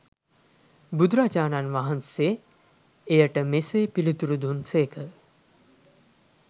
බුදුරජාණන් වහන්සේ එයට මෙසේ පිළිතුරු දුන් සේක.